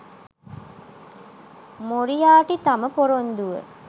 Moriarty තම පොරොන්දුව